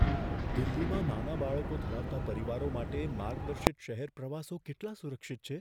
દિલ્હીમાં નાના બાળકો ધરાવતા પરિવારો માટે માર્ગદર્શિત શહેર પ્રવાસો કેટલા સુરક્ષિત છે?